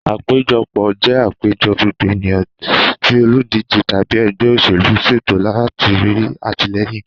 Àpéjọpọ̀ jẹ àpéjọ gbogbo ènìyàn tí olùdíje tàbí ẹgbẹ́ òṣèlú ṣètò láti rí atilẹyin.